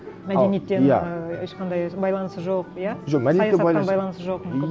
мәдениеттен ыыы ешқандай байланысы жоқ иә жоқ жоқ мүмкін